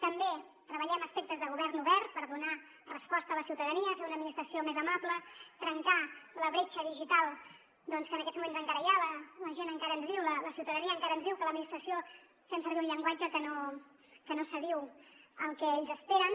també treballem aspectes de govern obert per donar resposta a la ciutadania fer una administració més amable trencar la bretxa digital doncs que en aquests moments encara hi ha la gent encara ens diu la ciutadania encara ens diu que l’administració fem servir un llenguatge que no s’adiu al que ells esperen